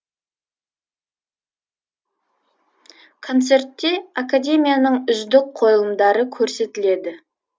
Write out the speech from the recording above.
концертте академияның үздік қойылымдары көрсетілді